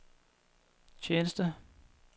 tjeneste